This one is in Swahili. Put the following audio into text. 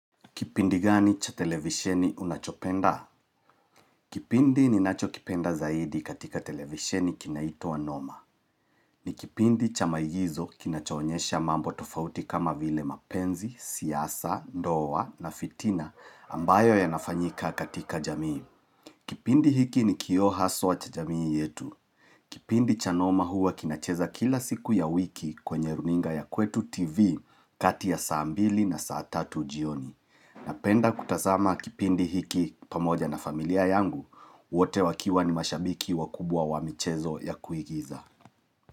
Kipindi gani cha televisheni unachopenda? Kipindi ninachokipenda zaidi katika televisheni kinaitwa Noma. Ni kipindi cha maigizo kinachoonyesha mambo tofauti kama vile mapenzi, siasa, ndoa na fitina ambayo yanafanyika katika jamii. Kipindi hiki ni kioo haswa cha jamii yetu. Kipindi cha Noma huwa kinacheza kila siku ya wiki kwenye runinga ya kwetu TV kati ya saa mbili na saa tatu jioni. Napenda kutasama kipindi hiki pamoja na familia yangu, wote wakiwa ni mashabiki wakubwa wa michezo ya kuigiza.